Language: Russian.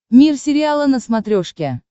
мир сериала на смотрешке